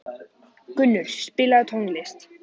Gunnur, spilaðu tónlist.